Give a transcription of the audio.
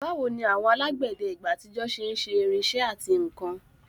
Báwo ni àwọn alágbẹ̀dẹ ìgbà àtijọ́ ṣe ń ṣe irinṣẹ́ àti nkan?